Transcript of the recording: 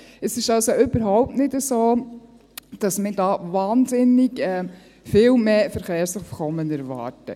Es ist also überhaupt nicht so, dass wir da wahnsinnig viel mehr Verkehrsaufkommen erwarten.